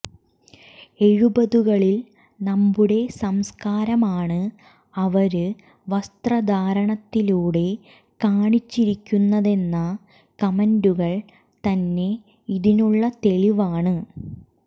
എഴുപതുകളിൽ നമ്മുടെ സംസ്കാരമാണ് അവര് വസ്ത്രധാരണത്തിലൂടെ കാണിച്ചിരിക്കുന്നതെന്ന കമന്റുകൾ തന്നെ ഇതിനുള്ള തെളിവാണ്